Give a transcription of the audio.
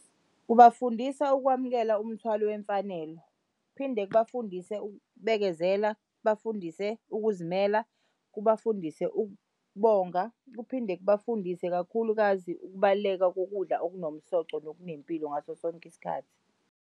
Kubafundisa ukwamukela umthwalo wemfanelo kuphinde kubafundise ukubekezela, kubafundise ukuzimela, kubafundise ukubonga, kuphinde kubafundise kakhulukazi ukubaluleka kokudla okunomsoco nokunempilo ngaso sonke isikhathi.